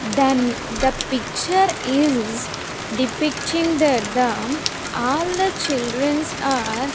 Then the picture is depicting that the all the children are --